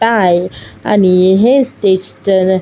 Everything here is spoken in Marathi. आणि हे स्टेज चे अ --